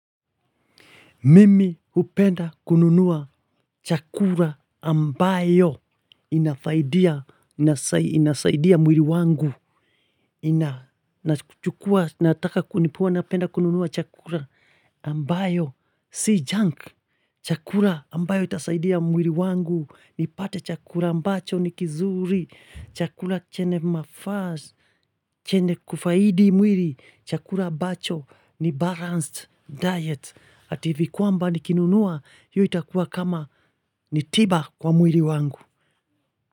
Mimi hupenda kununua chakula ambayo inafaidia, inasaidia mwili wangu, inataka kunipua na upenda kununua chakula ambayo, si junk, chakula ambayo itasaidia mwili wangu, nipate chakula ambacho ni kizuri, chakula chenye mafaz, chenye kufaidi mwili, chakula ambacho ni balanced diet, Ativikuwa mba nikinunuwa yu itakuwa kama nitiba kwa mwili wangu.